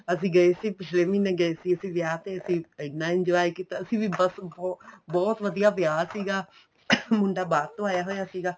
ਅਸੀਂ ਗਏ ਸੀ ਪਿੱਛਲੇ ਮਹੀਨੇ ਗਏ ਸੀ ਅਸੀਂ ਵਿਆਹ ਤੇ ਅਸੀਂ ਐਨਾ enjoy ਕੀਤਾ ਅਸੀਂ ਵੀ ਬੱਸ ਬਹੁਤ ਵਧੀਆ ਵਿਆਹ ਸੀਗਾ ਮੁੰਡਾ ਬਾਹਰ ਤੋਂ ਆਇਆ ਹੋਇਆ ਸੀਗਾ